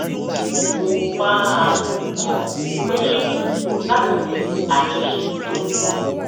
mo máa ń gbìyànjú láti ní àjọṣe tó